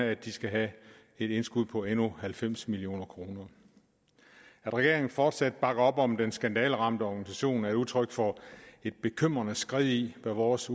at de skal have et indskud på endnu halvfems million kroner at regeringen fortsat bakker op om den skandaleramte organisation er udtryk for et bekymrende skred i hvad vores